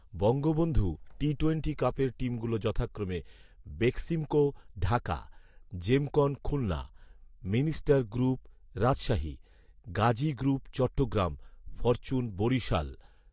Bangabandhu T twenty কাপের টিমগুলো যথাক্রমে, Beximco Dhaka, Gemcon Khulna, minister group Rajshahi, Gazi group Chittagong, fortune Barishal